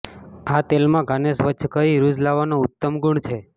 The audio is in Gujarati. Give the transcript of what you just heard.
આ તેલમાં ઘાને સ્વચ્છ કરી રૂઝ લાવવાનો ઉત્તમ ગુણ છે